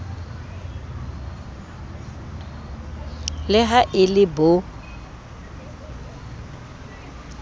le ha e le bo